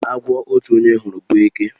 Agwo otu onye hụrụ bụ eke.